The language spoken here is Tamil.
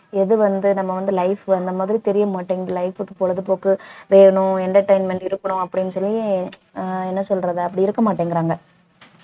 எது வந்து நம்ம வந்து life அந்த மாதிரி தெரிய மாட்டேங்குது life க்கு பொழுதுபோக்கு வேணும் entertainment இருக்கணும் அப்படின்னு சொல்லி ஆஹ் என்ன சொல்றது அப்படி இருக்க மாட்டேங்கிறாங்க